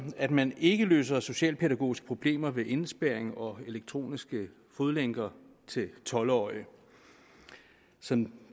at man ikke løser socialpædagogiske problemer ved indespærring og elektroniske fodlænker til tolv årige som